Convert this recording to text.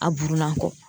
A burunan kɔ